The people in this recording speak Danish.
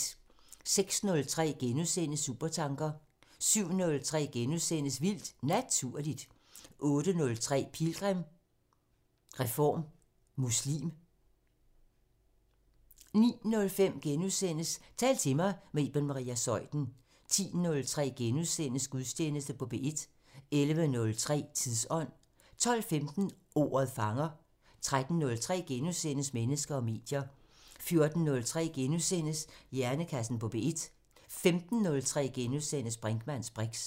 06:03: Supertanker * 07:03: Vildt Naturligt * 08:03: Pilgrim – Reform muslim 09:05: Tal til mig – med Iben Maria Zeuthen * 10:03: Gudstjeneste på P1 11:03: Tidsånd 12:15: Ordet fanger 13:03: Mennesker og medier * 14:03: Hjernekassen på P1 * 15:03: Brinkmanns briks *